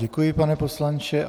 Děkuji, pane poslanče.